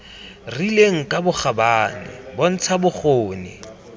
rileng ka bokgabane bontsha bokgoni